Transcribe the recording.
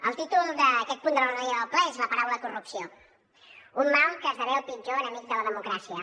el títol d’aquest punt de l’ordre del dia del ple és la paraula corrupció un mal que esdevé el pitjor enemic de la democràcia